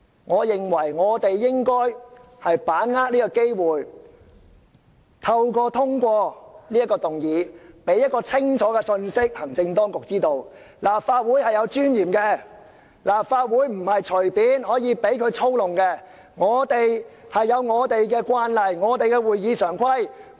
我認為我們應該把握這個機會，藉通過這項議案，向行政當局發出一個清楚的信息，就是立法會是有尊嚴的，立法會不是可以隨便讓當局操弄的，我們有我們的慣例，有我們的會議常規。